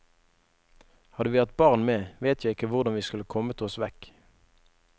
Hadde vi hatt barn med, vet jeg ikke hvordan vi skulle kommet oss vekk.